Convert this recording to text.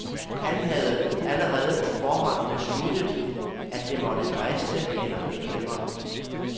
Han havde allerede på forhånd besluttet, at det måtte briste eller bære.